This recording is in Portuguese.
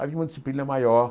Havia uma disciplina maior.